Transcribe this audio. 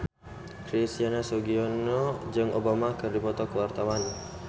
Christian Sugiono jeung Obama keur dipoto ku wartawan